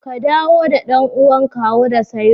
Ka dawo da ɗan'uwan kawo da sairu